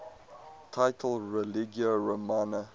title religio romana